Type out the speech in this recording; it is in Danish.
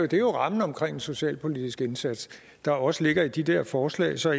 det er jo rammen omkring den socialpolitiske indsats der også ligger i de der forslag så